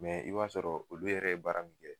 i b'a sɔrɔ olu yɛrɛ ye baara min kɛ